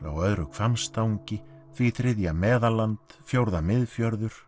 á öðru Hvammstangi því þriðja Meðalland fjórða